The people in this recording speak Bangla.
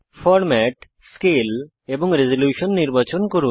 ফরম্যাট স্কেল এবং রেসোলিউশন নির্বাচন করুন